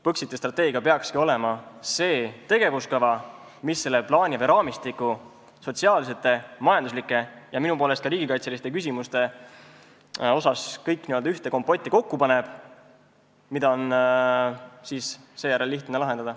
Põxiti strateegia peakski olema see tegevuskava, mis selle plaani või raamistiku sotsiaalsed, majanduslikud ja minu poolest ka riigikaitselised küsimused kõik n-ö ühte kompotti kokku paneb, millega on seejärel lihtne tegeleda.